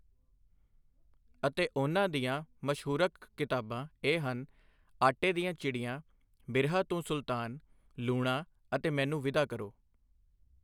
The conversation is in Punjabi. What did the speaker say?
ਅਤੇ ਉਨ੍ਹਾਂ ਦੀਆਂ ਮਸ਼ਹੂਰਕ ਕਿਤਾਬਾਂ ਇਹ ਹਨ ਆਟੇ ਦੀਆਂ ਚਿੜੀਆਂ ਬਿਰਹਾ ਤੂੰ ਸੁਲਤਾਨ, ਲੂਣਾ ਅਤੇ ਮੈਨੂੰ ਵਿਦਾ ਕਰੋ।